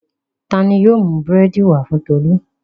Ta ni yóò mú búrẹ́dì wá fún Tolú?